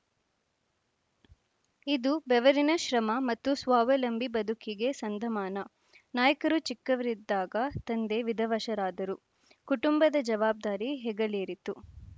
ಇದು ಬೆವರಿನ ಶ್ರಮ ಮತ್ತು ಸ್ವಾವಲಂಬಿ ಬದುಕಿಗೆ ಸಂದ ಮಾನ ನಾಯ್ಕರು ಚಿಕ್ಕವರಿದ್ದಾಗ ತಂದೆ ವಿಧವಶರಾದರು ಕುಟುಂಬದ ಜವಾಬ್ದಾರಿ ಹೆಗಲೇರಿತು